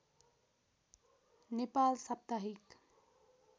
नेपाल साप्ताहिक